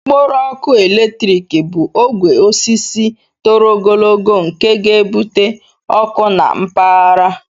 Okporo ọkụ eletrik bụ ogwe osisi toro ogologo nke ga-ebute ọkụ na mpaghara.